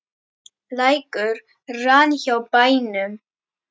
Lækur rann hjá bænum.